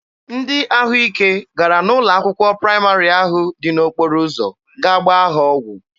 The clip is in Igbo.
Ndị ahụ ike gara n'ụlọ akwụkwọ praịmarị ahụ dị n'okporo ụzọ gaa gbaa ha ọgwụ.